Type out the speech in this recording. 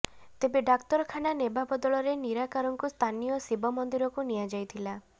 ତେବେ ଡାକ୍ତରଖାନା ନେବା ବଦଳରେ ନିରାକାରଙ୍କୁ ସ୍ଥାନୀୟ ଶିବ ମନ୍ଦିରକୁ ନିଆଯାଇଥିଲା